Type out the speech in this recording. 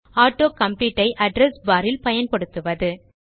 auto complete ஐ address bar இல் பயன்படுத்துவது